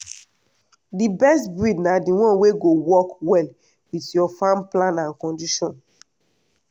the best breed na the one wey go work well with your farm plan and condition